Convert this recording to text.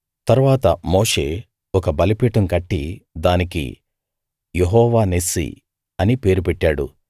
తరువాత మోషే ఒక బలిపీఠం కట్టి దానికి యెహోవా నిస్సీ అని పేరు పెట్టాడు